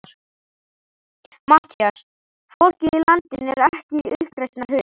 MATTHÍAS: Fólkið í landinu er ekki í uppreisnarhug.